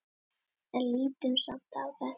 En lítum samt á þetta.